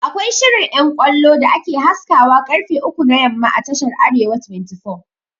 Akwai shirin ƴan ƙwallo da ake haskawa ƙarfe uku na yamma a tashar "arewa 24'